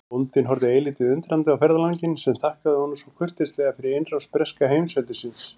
Bóndinn horfði eilítið undrandi á ferðalanginn sem þakkaði honum svo kurteislega fyrir innrás breska heimsveldisins.